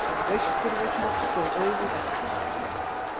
Austurvöllur stóð auður eftir.